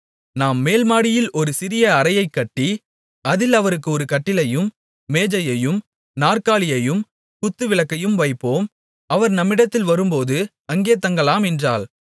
நாம் மேல்மாடியில் ஒரு சிறிய அறையைக் கட்டி அதில் அவருக்கு ஒரு கட்டிலையும் மேஜையையும் நாற்காலியையும் குத்துவிளக்கையும் வைப்போம் அவர் நம்மிடத்தில் வரும்போது அங்கே தங்கலாம் என்றாள்